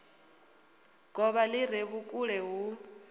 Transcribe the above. govha li re vhukule hu